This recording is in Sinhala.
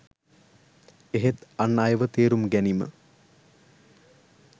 එහෙත් අන් අයව තේරුම් ගැනීම